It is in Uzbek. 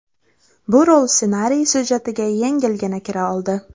Bu rol ssenariy syujetiga yengilgina kira oldi.